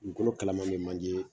Dugukolo kalaman bɛ manje